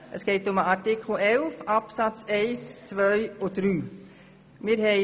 Es geht um die Absätze 1, 2 und 3 von Artikel 11.